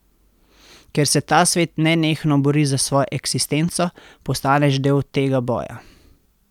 Ker se ta svet nenehno bori za svojo eksistenco, postaneš del tega boja.